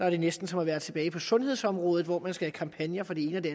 er næsten som at være tilbage på sundhedsområdet hvor man skal have kampagner for det ene og det